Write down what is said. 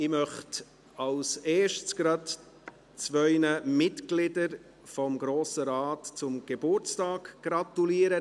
Ich möchte als Erstes gleich zwei Mitgliedern des Grossen Rates zum Geburtstag gratulieren.